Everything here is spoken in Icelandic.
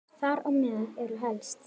Þar á meðal eru helst